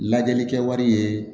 Lajɛlikɛ wari ye